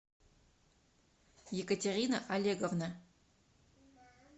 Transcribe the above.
екатерина олеговна